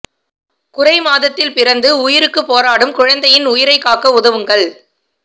குறை மாதத்தில் பிறந்து உயிருக்குப் போராடும் குழந்தையின் உயிரை காக்க உதவுங்கள்